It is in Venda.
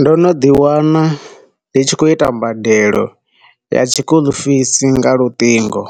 Ndo no ḓi wana ndi tshi khou ita badelo ya tshi school fees nga luṱingo,